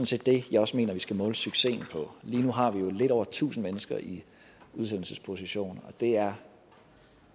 set det jeg også mener vi skal måle successen på lige nu har vi lidt over tusind mennesker i udsendelsesposition og det er